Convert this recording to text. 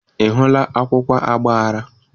Ị hụla akwụkwọ agbara?